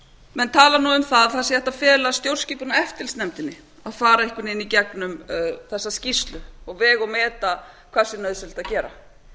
menn tala um að hægt sé að fela stjórnskipunar og eftirlitsnefndinni að fara einhvern veginn í gegnum þessa skýrslu og vega og meta hvað sé nauðsynlegt að gera